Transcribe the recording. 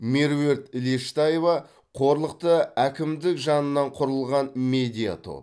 меруерт лештаева қорлықты әкімдік жанынан құрылған медиа топ